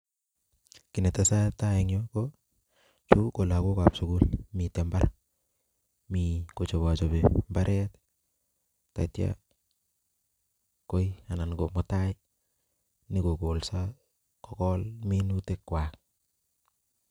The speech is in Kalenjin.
Kii ne tesetai en yuu, ko chu ko lagokab sugul. Mieti mbar, mi kochobachobi mbaret. Tatia koi, anan ko mutai nyikogolso, kogol minutikwaak